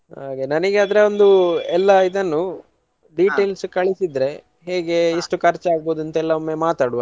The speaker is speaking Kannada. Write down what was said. ಹಾಗೆ ನನಿಗೆ ಆದ್ರೆ ಒಂದು ಎಲ್ಲಾ ಇದನ್ನು details ಕಳ್ಸಿದ್ರೆ ಹೇಗೆ ಇಷ್ಟು ಖರ್ಚಾಗಬೋದು ಅಂತ ಎಲ್ಲ ಮಾತಾಡ್ವ.